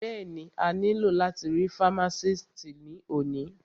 Bẹ́ẹ̀ni, a ní lò láti rí fámásìtì ní òní